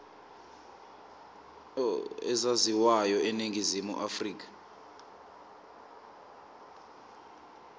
ezaziwayo eningizimu afrika